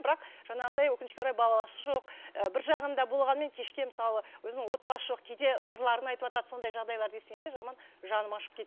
бірақ жаңағыдай өкінішке орай баласы жоқ і бір жағында болғанмен кешке мысалы өзінің отбасы жоқ кейде сырларын айтыватады сондай жағдайларды естігенде жаман жаным ашып